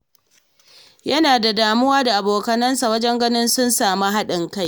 Yana damuwa da abokansa wajen ganin sun sami haɗin kai.